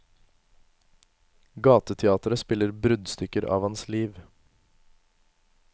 Gateteatre spiller bruddstykker av hans liv.